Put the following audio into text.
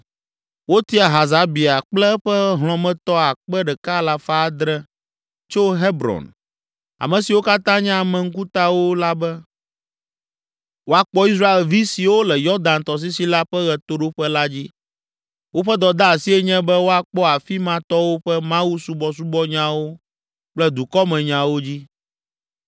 Wotia Hasabia kple eƒe hlɔ̃metɔ akpe ɖeka alafa adre (1,700) tso Hebron, ame siwo katã nye ame ŋkutawo la be, woakpɔ Israelvi siwo le Yɔdan tɔsisi la ƒe ɣetoɖoƒe la dzi. Woƒe dɔdeasie nye be woakpɔ afi ma tɔwo ƒe Mawusubɔbɔnyawo kple dukɔmenyawo dzi.